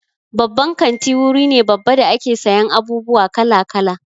Babban kanti wuri ne babba da ake sayan abubuwa kala-kala.